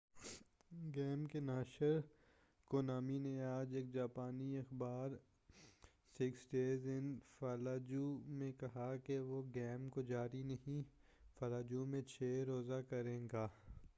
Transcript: Game کے ناشر Konami نے آج ایک جاپانی اخبار میں کہا ہے کہ وہ six days in fallujah Fallujah میں چھ روزہ گیم کو جاری نہیں کرے گا۔